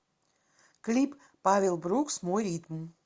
клип павел брукс мой ритм